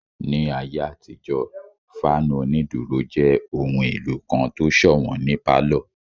Ní ayé àtijó, fáànù onídúró jẹ́ ohun èlò kan tó sọ̀wọ́n ní pálọ̀